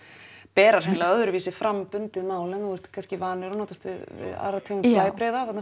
bera hreinlega öðruvísi fram bundið mál en þú ert kannski vanur og notast við aðra tegund blæbrigða þarna